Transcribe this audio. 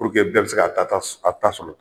Puruke bɛɛ bi se k'a ta s a ta sɔrɔ